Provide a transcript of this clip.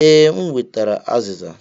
Ee, m wetara aziza.